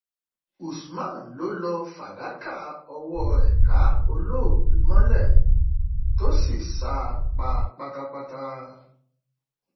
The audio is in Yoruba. usman ló lọọ fàdákà ọwọ rẹ ká olóògbé mọlẹ tó sì sá a pa pátápátá